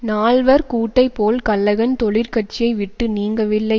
நால்வர் கூட்டைப் போல் கல்லகன் தொழிற்கட்சியை விட்டு நீங்கவில்லை